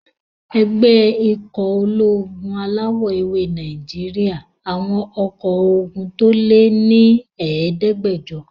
Ẹgbẹ́ ikọ̀ ológun alawọ̀-ewé Nàìjíríyà àwọn ọkọ́ ogun tó lé ní ẹ̀ẹ́dẹ́gbàjọ